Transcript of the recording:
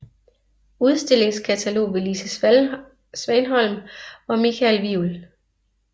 Udstillingskatalog ved Lise Svanholm og Mikael Wivel